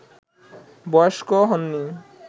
বয়স্ক হননি